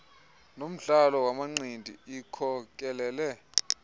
nomdlalo wamanqindi ikhokelele